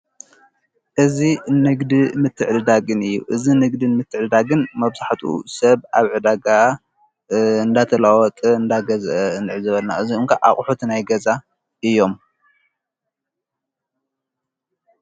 እዝ ንግዲ ምትዕድዳግን እዩ እዝ ንግድን ምትዕድዳግን መብሕጡ ሰብ ኣብ ዕዳጋ እንዳተላወጥ እንዳገዘአ እንዕ ዘበልና እዙይ እኳ ኣቝሑት ናይገዛ እዮም።